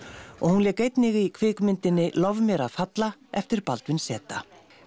og hún lék einnig í kvikmyndinni lof mér að falla eftir Baldvin z